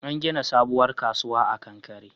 An gina sabuwar kasuwa a kankare